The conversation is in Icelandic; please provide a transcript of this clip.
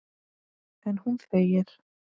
En hún þegir.